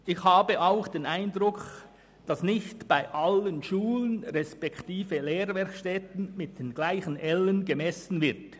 Ich habe auch den Eindruck, dass nicht bei allen Schulen beziehungsweise Lehrwerkstätten mit denselben Ellen gemessen wird.